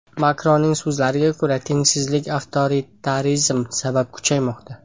Makronning so‘zlariga ko‘ra, tengsizlik avtoritarizm sabab kuchaymoqda.